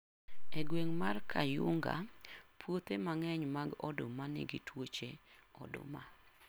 E gweng' mar Kayunga, puothe mang'eny mag oduma nigi twoche oduma.